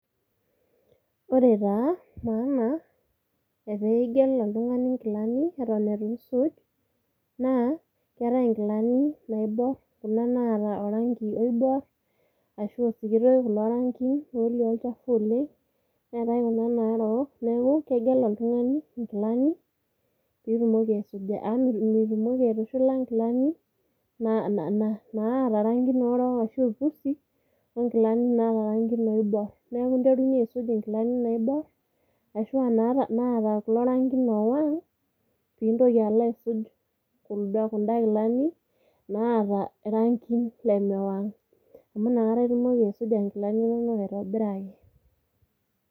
Ore taa maana epeigel oltungani nkilani eton isuj naa keetae nkilani naibor , kuna naata orangi oibor ashua osikitoi lorangi netii olchafu oleng, neetae kuna narook ,niaku kegel oltungani nkilani pitumoki aisuja .Amu mitumokiaisuja nkilani naata rangiin orok ashu impusi onkilani naata irangin oibor. Niaku interunyie aisuj inkilani naibor ashuaa naatakulo rangin owang pintoki alo aisuj kunda kilani naata irangin lemewang. Amu inakata itumoki aisuja nkilani inonok aitobiraki.